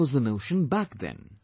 That was the notion back then